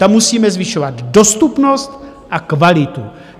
Tam musíme zvyšovat dostupnost a kvalitu.